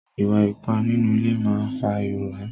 Ìwà ipá nínú ilé máa ń fa ìrònú.